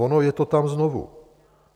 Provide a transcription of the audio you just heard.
Ono je to tam znovu!